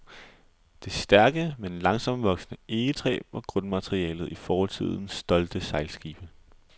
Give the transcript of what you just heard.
Det stærke, men langsomtvoksende egetræ var grundmaterialet i fortidens stolte sejlskibe.